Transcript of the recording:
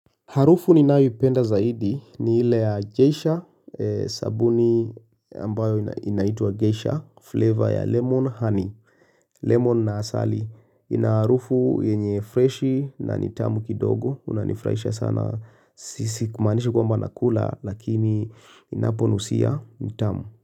Harufu ninayoipenda zaidi ni ile ya geisha sabuni ambayo inaitwa geisha flavor ya lemon honey. Lemon na asali ina harufu yenye freshi na ni tamu kidogo. Hunifurahisha sana. Si kumaanisha kwamba nakula lakini ninaponusia ni tamu.